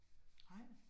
Nej